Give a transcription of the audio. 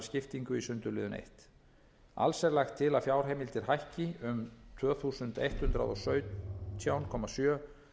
skiptingu í sundurliðun fyrsta alls er lagt til að fjárheimildir hækki um tvö þúsund hundrað og sautján komma sjö